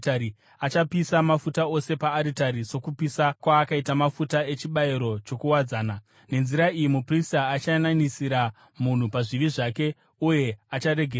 Achapisa mafuta ose paaritari sokupisa kwaakaita mafuta echibayiro chokuwadzana. Nenzira iyi muprista achayananisira munhu pazvivi zvake uye acharegererwa.